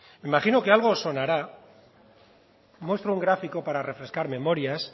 me imagino que algo os sonará muestro un gráfico para refrescar memorias